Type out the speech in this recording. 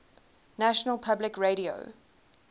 national public radio